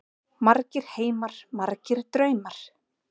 Margir heimar, margir draumar.